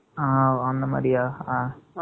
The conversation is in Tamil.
ஆ, அந்த மாதிரியா?